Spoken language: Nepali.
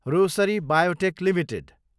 Rossari biotech Ltd